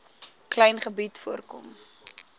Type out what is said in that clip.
klein gebied voorkom